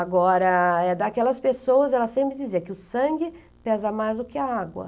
Agora, é daquelas pessoas, ela sempre dizia que o sangue pesa mais do que a água.